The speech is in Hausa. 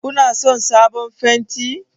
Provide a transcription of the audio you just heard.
Kuna son sabon fenti?